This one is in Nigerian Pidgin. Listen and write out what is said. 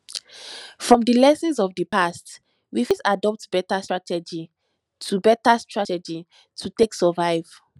from di lessons of di past we fit adopt better starategy to better starategy to take survive